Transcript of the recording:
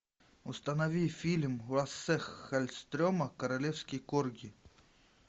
установи фильм лассе халльстрема королевский корги